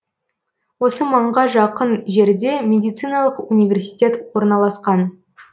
осы маңға жақын жерде медициналық университет орналасқан